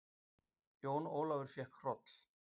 Jón Ólafur fékk hroll.